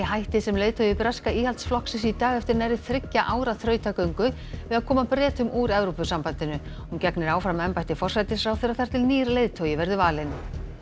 hætti sem leiðtogi breska Íhaldsflokksins í dag eftir nærri þriggja ára þrautagöngu við að koma Bretum úr Evrópusambandinu hún gegnir áfram embætti forsætisráðherra þar til nýr leiðtogi verður valinn